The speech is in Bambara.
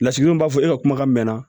Lasigidenw b'a fɔ e ka kumakan mɛnna